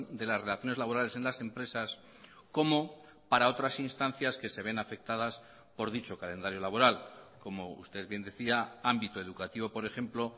de las relaciones laborales en las empresas como para otras instancias que se ven afectadas por dicho calendario laboral como usted bien decía ámbito educativo por ejemplo